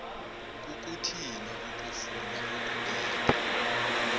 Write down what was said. kukuthini ukufuna ukubetha